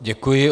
Děkuji.